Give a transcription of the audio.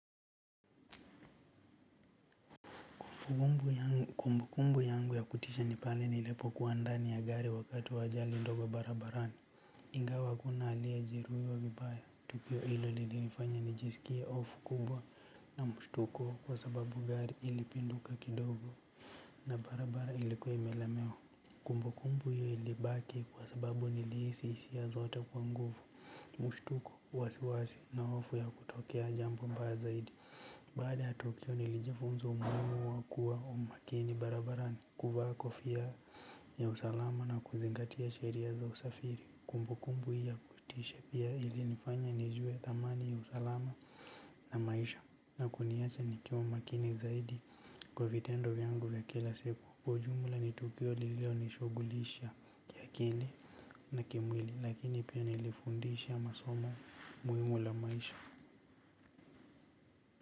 Kumbukumbu yangu ya kutisha ni pale nilipokuwa ndani ya gari wakati wa ajali ndogo barabarani. Ingawa hakuna aliyejeruhiwa vibaya, tukio hilo lilinifanya nijisikie hofu kubwa. Na mshtuko kwa sababu gari lilipinduka kidogo na barabara ilikuwa imelemewa. Kumbukumbu hiyo ilibaki kwa sababu nilihisi hisia zote kwa nguvu. Mshtuko, wasiwasi na hofu ya kutokea jambo mbaya zaidi. Baada ya tukio nilijifunza umuhimu wa kuwa makini barabarani, kuvaa kofia ya usalama na kuzingatia sheria za usafiri. Kumbukumbu hii ya kutisha pia ilinifanya nijue thamani ya usalama. Na maisha na kuniacha nikiwa makini zaidi kwa vitendo vyangu vya kila siku. Kwa ujumla, ni tukio lililonishughulisha kiakili na kimwili lakini pia lilinifundisha somo muhimu la maisha.